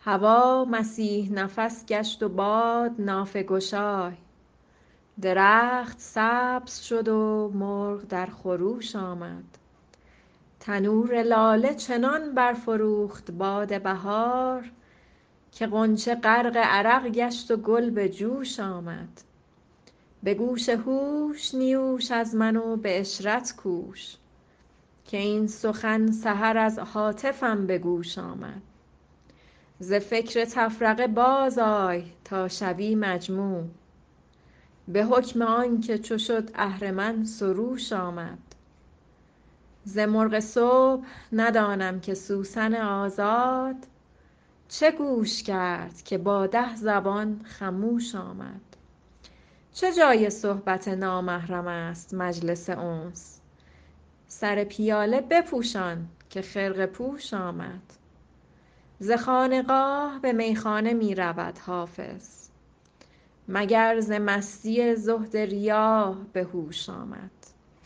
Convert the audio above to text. هوا مسیح نفس گشت و باد نافه گشای درخت سبز شد و مرغ در خروش آمد تنور لاله چنان برفروخت باد بهار که غنچه غرق عرق گشت و گل به جوش آمد به گوش هوش نیوش از من و به عشرت کوش که این سخن سحر از هاتفم به گوش آمد ز فکر تفرقه بازآی تا شوی مجموع به حکم آن که چو شد اهرمن سروش آمد ز مرغ صبح ندانم که سوسن آزاد چه گوش کرد که با ده زبان خموش آمد چه جای صحبت نامحرم است مجلس انس سر پیاله بپوشان که خرقه پوش آمد ز خانقاه به میخانه می رود حافظ مگر ز مستی زهد ریا به هوش آمد